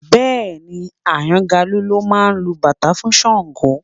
Bẹ́ẹ̀ni Àyàngalú ló máa lu bàtá fún Ṣàngó